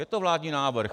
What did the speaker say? Je to vládní návrh.